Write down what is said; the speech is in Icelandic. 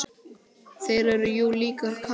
Þeir eru jú líka kratar.